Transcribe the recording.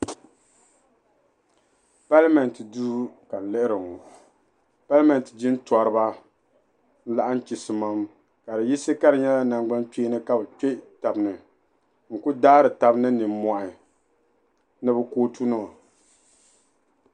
Palimeenti duu ka n lihiri ŋɔ palimeenti jintɔriba n laɣim chisimam ka bɛ yisi ka di nyela nangbankpeeni ka bi kpe tabi ni n ku daari tab ni nimohi ni bɛ kootunima.